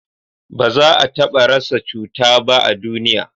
ba za a taba rasa cuta ba a duniya